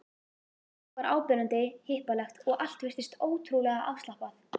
Fólk var áberandi hippalegt og allt virtist ótrúlega afslappað.